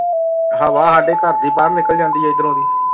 ਹਵਾ ਸਾਡੇ ਘਰ ਦੀ ਬਾਹਰ ਨਿਕਲ ਜਾਂਦੀ ਹੈ ਇੱਧਰੋਂ ਦੀ।